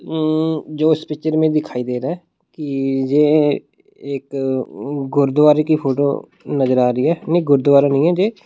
उम्म जो इस पिक्चर में दिखाई दे रहा है इ जे एक गुरूद्वारे की फोटो नजर आ रही है नहीं गुरुद्वारा नहीं है ये।